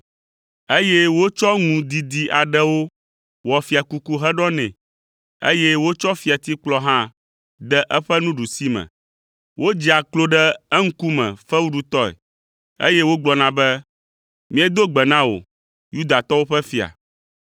eye wotsɔ ŋu didi aɖewo wɔ fiakuku heɖɔ nɛ, eye wotsɔ fiatikplɔ hã de eƒe nuɖusime me. Wodzea klo ɖe eŋkume fewuɖutɔe, eye wogblɔna be, “Míedo gbe na wò, Yudatɔwo ƒe fia.”